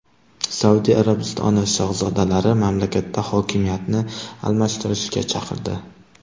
Saudiya Arabistoni shahzodalari mamlakatda hokimiyatni almashtirishga chaqirdi.